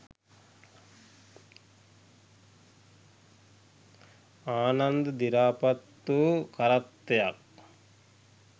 ආනන්ද දිරාපත් වූ කරත්තයක්